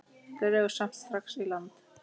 Dregur samt strax í land.